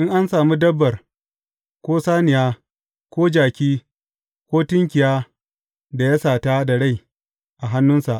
In an sami dabbar, ko saniya, ko jaki, ko tunkiya da ya sata da rai a hannunsa,